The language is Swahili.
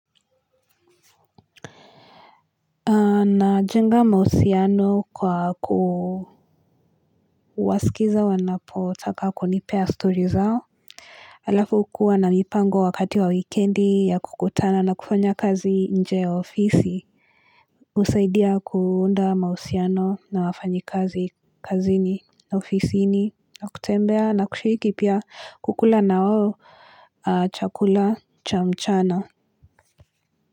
Wanajenga mahusiano kwa kuwasikiza wanapotaka kunipea story zao. Alafu kuwa na mipango wakati wa wikendi ya kukutana na kufanya kazi nje ofisi. Usaidia kuunda mausiano na wafanyi kazi kazi ni ofisi ni na kutembea na kushiriki pia kukula na wawo chakula cha mchana.